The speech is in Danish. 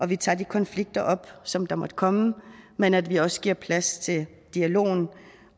vi tager de konflikter op som der måtte komme men at vi også giver plads til dialogen